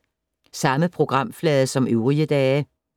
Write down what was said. Samme programflade som øvrige dage